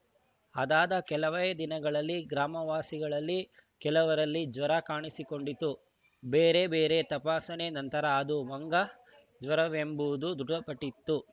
ಅದಾದ ಕೆಲವೇ ದಿನಗಳಲ್ಲಿ ಗ್ರಾಮವಾಸಿಗಳಲ್ಲಿ ಕೆಲವರಲ್ಲಿ ಜ್ವರ ಕಾಣಿಸಿಕೊಂಡಿತ್ತು ಬೇರೆ ಬೇರೆ ತಪಾಸಣೆ ನಂತರ ಅದು ಮಂಗನಜ್ವರವೆಂಬುದು ದೃಢಪಟ್ಟಿತ್ತು